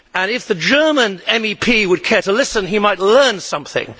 If the German MEP would care to listen, he might learn something.